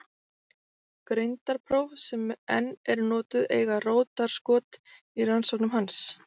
Greindarpróf sem enn eru notuð eiga rótarskot í rannsóknum hans.